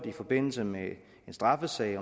i forbindelse med en straffesag